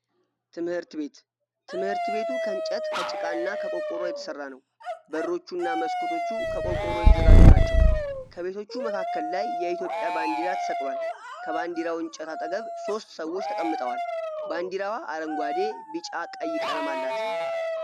ትምህርት ቤት:-ትምህርት ቤቱ ከእንጨት ከጭቃ እና ከቆርቆሮ የተሰራ ነው። በሮቹ እና መስኮቶቹ ከቆርቆሮ የተዘጋጁ ናቸው። ከቤቶቹ መካከል ላይ የኢትዮጵያ ባንዲራ ተሰቅሏል። ከባንዲራው እንጨት አጠገብ ሶስት ሰዎች ተቀምጠዋል። ባንዲረዋ አረንጓዴ፣ ቢጫ፣ ቀይ ቀለም አላት።